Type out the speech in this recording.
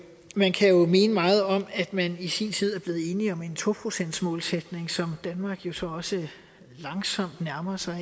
man kan jo mene meget om at man i sin tid er blevet enig om en to procentsmålsætning som danmark jo så også langsomt nærmer sig